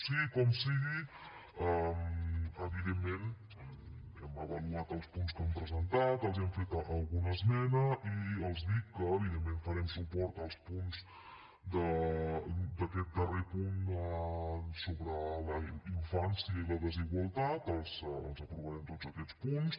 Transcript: sigui com sigui evidentment hem avaluat els punts que han presentat els hi hem fet alguna esmena i els dic que evidentment farem suport als punts d’aquest darrer punt sobre la infància i la desigualtat els aprovarem tots aquests punts